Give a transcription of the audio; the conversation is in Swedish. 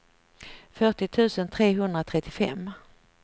fyrtio tusen trehundratrettiofem